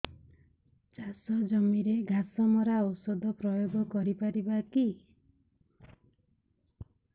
ଚାଷ ଜମିରେ ଘାସ ମରା ଔଷଧ ପ୍ରୟୋଗ କରି ପାରିବା କି